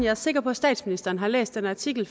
er sikker på at statsministeren har læst den artikel